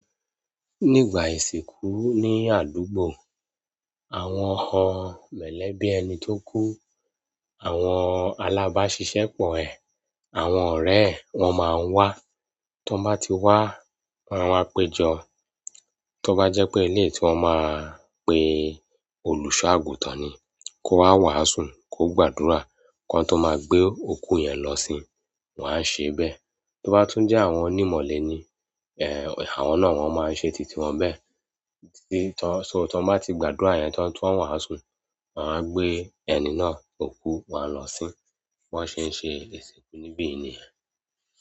Nígbà ìsìnkú ní àdúgbò, àwọn ọ mọ̀lẹ́bí ẹni tó kú, àwọn alábáṣiṣẹ́ pọ̀ ẹ, àwọn ọ̀rẹ́ ẹ, wọ́n máa ń wá. Tí wọ́n bá ti wá, wọ́n a wáá péjọ. Tí ó bá jẹ́ pé ilé tí wọ́n máa pe olùṣọ-àgùntàn ni, kó wá wàásù, kó gbàdúrà. Kán tó máa gbé òkú yẹn lọ sin, wọ́n á ṣé bẹ́ẹ̀. Tí ó bá tún jẹ́ àwọn onímọ̀le ni, ẹ, àwọn náà wọ́n máa ń ṣe títí wọn bẹ́ẹ̀. Tí, so tí wọ́n bá ti gbàdúrà yẹn tán tí wọ́n wàásù, wọ́n á gbé ẹni náà òkú wọn a lọ sìn. Bí wọ́n ṣe ń ṣe ìsìnkú níbí nìyẹn.